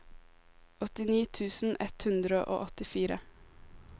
åttini tusen ett hundre og åttifire